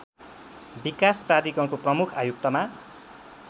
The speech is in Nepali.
विकास प्राधिकरणको प्रमुख आयुक्तमा